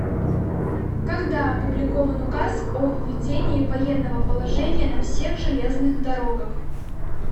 когда опубликован указ о введении военного положения на всех железных дорогах